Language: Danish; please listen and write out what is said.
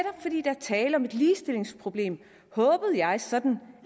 tale om et ligestillingsproblem håbede jeg sådan